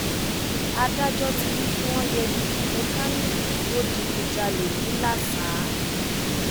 adájọ ti ní kí wọn yẹgi fún mẹkáníìkì tó digunjalè ńìlasa